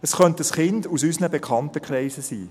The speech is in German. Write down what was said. Es könnte ein Kind aus unserem Bekanntenkreis sein.